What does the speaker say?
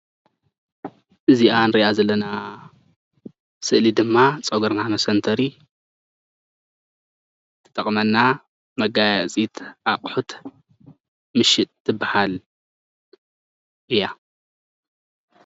እዚኣ እንሪኣ ዘለና ሰእሊ ድማ ፀጉርና መሰንተሪ ትጠቅመና መገያየፂት አቁሑት ምሽጥ ትበሃል እያ ።